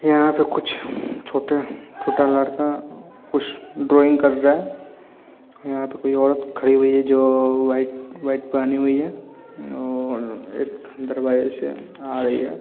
यहाँ पे कुछ छोटा-छोटा लड़का कुछ ड्राइंग कर रहे है यहाँ पे कोई औरत खड़ी हुई है जो व्हाइट व्हाइट पहनी हुई है और अंदर एक दरवाजा से आ रही है।